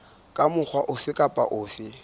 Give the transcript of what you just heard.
ka mokgwa ofe kapa ofe